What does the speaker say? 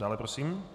Dále prosím.